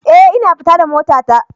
Eh, ina fita da motata